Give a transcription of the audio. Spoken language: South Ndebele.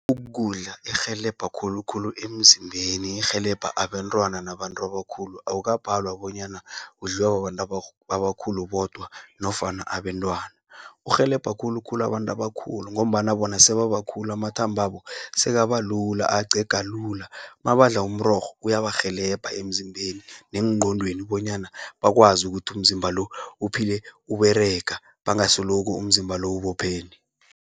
Ukudla erhelebha khulukhulu emzimbeni, erhelebha abentwana nabantu abakhulu. Awukabhalwa bonyana, udliwa babantu abakhulu bodwa nofana abentwana. Urhelebha khulukhulu abantu abakhulu, ngombana bona sebabakhulu amathambabo, sekabalula acega lula. Mabandla umrorho uyabarhelebha emzimbeni neengqondweni, bonyana bakwazi ukuthi umzimba lo, uphile uberega bangasoloku umzimba lo ubophene.